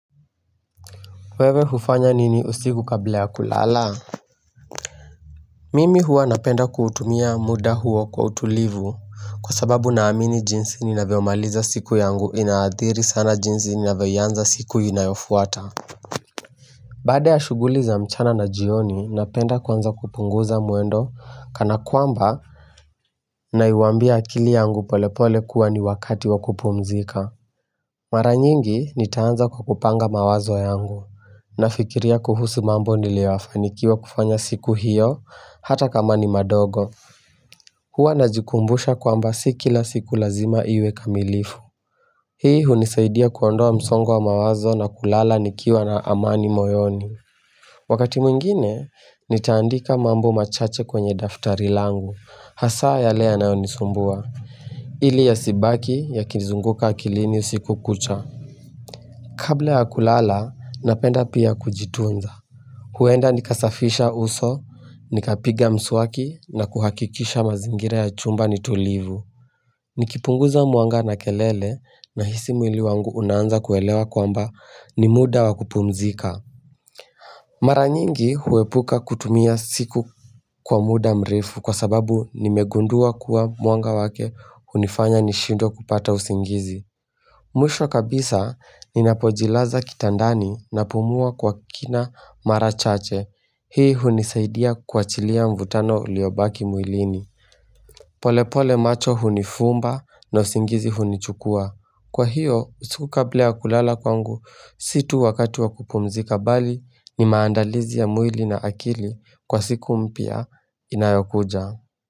Wewe hufanya nini usiku kabla ya kulala? Mimi huwa napenda kutumia muda huwa kwa utulivu. Kwa sababu naamini jinsi ninavyo maliza siku yangu inaathiri sana jinsi ninavyo ianza siku inayofuata. Baada ya shughuli za mchana na jioni, napenda kuanza kupunguza mwendo kana kwamba naiambia akili yangu polepole kuwa ni wakati wakupumzika. Mara nyingi nitaanza kwa kupanga mawazo yangu. Nafikiria kuhusu mambo nilofanikiwa kufanya siku hiyo, hata kama ni madogo. Huwa najikumbusha kwamba si kila siku lazima iwe kamilifu. Hii hunisaidia kuondoa msongo wa mawazo na kulala nikiwa na amani moyoni. Wakati mwingine, nitaandika mambo machache kwenye daftari langu. Hasaa yale yanayonisumbua. Ili yasibaki yakizunguka akilini usiku kucha. Kabla ya kulala, napenda pia kujitunza. Huenda nikasafisha uso, nikapiga mswaki na kuhakikisha mazingira ya chumba ni tulivu. Nikipunguza mwanga na kelele, nahisi mwili wangu unaanza kuelewa kwamba ni muda wa kupumzika. Mara nyingi huepuka kutumia siku kwa muda mrefu, kwa sababu nimegundua kuwa mwanga wake hunifanya nishindwe kupata usingizi. Mwisho kabisa ninapojilaza kitandani napumua kwa kina mara chache. Hii hunisaidia kuachilia mvutano uliobaki mwilini. Polepole macho hunifumba na usingizi hunichukuwa. Kwa hiyo, usiku kabla ya kulala kwangu, si tu wakati wa kupumzika, bali ni maandalizi ya mwili na akili kwa siku mpya inayokuja.